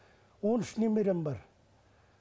он үш немерем бар